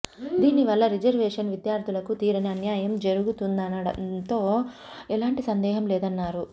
దీనివల్ల రిజర్వేషన్ విద్యార్థులకు తీరని అన్యాయం జరుగుతుందనడంలో ఎలాంటి సందేహం లేదన్నారు